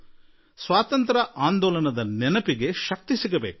ಸ್ವಾತಂತ್ರ್ಯ ಆಂದೋಲನಕ್ಕೆ ಶಕ್ತಿ ಬರಲಿ ಎನ್ನುವ ಉದ್ದೇಶ ಅವರದ್ದಾಗಿತ್ತು